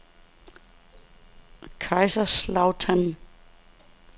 Kaiserslautern